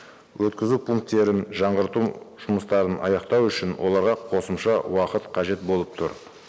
өткізу пункттерін жаңарту жұмыстарын аяқтау үшін оларға қосымша уақыт қажет болып тұр